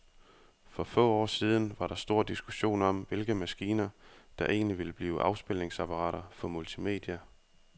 For få år siden var der stor diskussion om, hvilke maskiner, der egentlig ville blive afspilningsapparater for multimedia.